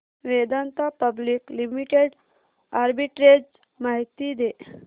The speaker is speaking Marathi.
वेदांता पब्लिक लिमिटेड आर्बिट्रेज माहिती दे